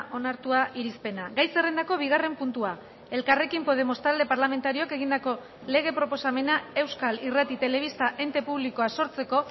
onartua irizpena gai zerrendako bigarren puntua elkarrekin podemos talde parlamentarioak egindako lege proposamena euskal irrati telebista ente publikoa sortzeko